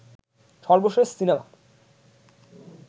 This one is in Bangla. সর্বশেষ সিনেমা